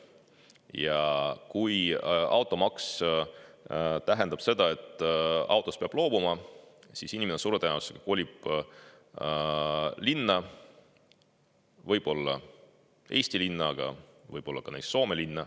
Ja kui automaks tähendab seda, et autost peab loobuma, siis inimene suure tõenäosusega kolib linna, võib-olla mõnda Eesti linna, aga võib-olla mõnda Soome linna.